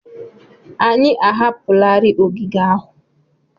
Anyị ahapụlarị ogige ahụ.